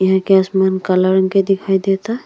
एही के आसमान कला रंग के दिखाई देता।